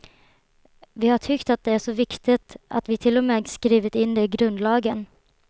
Vi har tyckt att det är så viktigt att vi till och med skrivit in det i grundlagen.